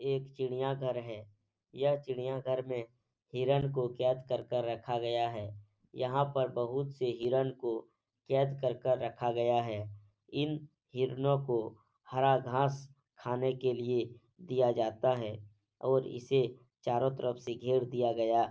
ये एक चिड़ियाघर है। यह चिड़ियाघर में हिरण को कैद कर के रखा गया है। यहाँ पर बहोत से हिरण को कैद कर के रखा गाया है। इन हिरणों को हरा घांस खाने के लिया दिया जाता है और इसे चारों तरफ से घेर दिया गाया --